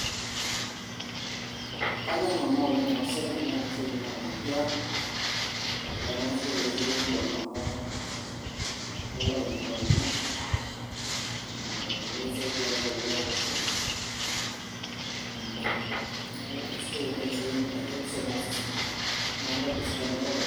kanyorr nanu oleng ena siai amu ore ena siai naa empira naa eisidai taa esiai empira oleng amu ekilak ninye indamunot nikisaidia naa piaku fit neeku isidai oleng esiai empira keretisho oleng osesen naa kitobirr sii indamunot oltung'ani.